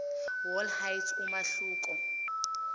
wall height umahluko